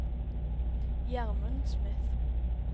Gjermund Smith